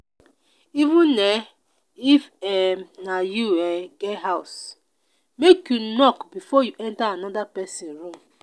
even um if um na you um get house make you knock before you enta anoda pesin room.